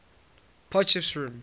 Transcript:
potchefstroom